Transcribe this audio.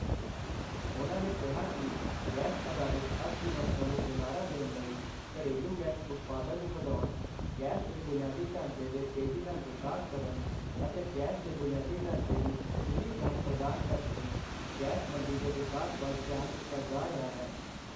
ਉਨ੍ਹਾਂ ਨੇ ਕਿਹਾ ਕਿ ਗੈਸ ਅਧਾਰਿਤ ਅਰਥਵਿਵਸਥਾ ਨੂੰ ਹੁਲਾਰਾ ਦੇਣ ਲਈ, ਘਰੇਲੂ ਗੈਸ ਉਤਪਾਦਨ ਨੂੰ ਵਧਾਉਣ, ਗੈਸ ਦੇ ਬੁਨਿਆਦੀ ਢਾਂਚੇ ਦੇ ਤੇਜ਼ੀ ਨਾਲ ਵਿਕਾਸ ਕਰਨ ਅਤੇ ਗੈਸ ਦੇ ਬੁਨਿਆਦੀ ਢਾਂਚੇ ਦੀ ਖੁੱਲ੍ਹੀ ਪਹੁੰਚ ਪ੍ਰਦਾਨ ਕਰਕੇ ਗੈਸ ਮੰਡੀ ਦੇ ਵਿਕਾਸ ਵੱਲ ਧਿਆਨ ਦਿੱਤਾ ਜਾ ਰਿਹਾ ਹੈ।